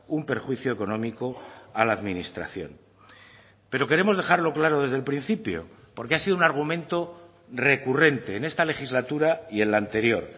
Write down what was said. un perjuicio económico a la administración pero queremos dejarlo claro desde el principio porque ha sido un argumento recurrente en esta legislatura y en la anterior